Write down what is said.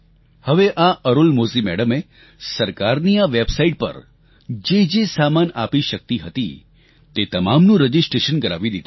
હવે આ અરુલમોઝી મેડમે સરકારની આ વેબસાઇટ પર જેજે સામાન આપી શકતી હતી તે તમામનું રજીસ્ટર કરાવી દીધું